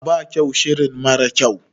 A'a ba kyau shirin mara kyau